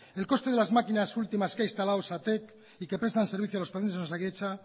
el coste de las máquinas últimas que ha instalado osatek y que prestan el servicio a los pacientes de osakidetza